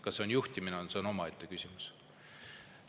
Kas see on juhtimine, on omaette küsimus.